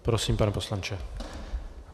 Prosím, pane poslanče.